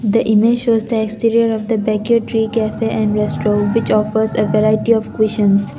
the image shows was the exterior of the beg tea coffee and restro which offers a variety of visions.